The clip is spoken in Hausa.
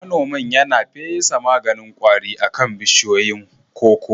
Manomin yana fesa maganin kwari akan bishiyoyin koko